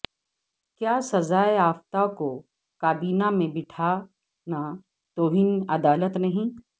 کیا سزایافتہ کو کابینہ میں بٹھانا توہین عدالت نہیں